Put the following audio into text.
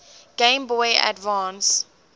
game boy advance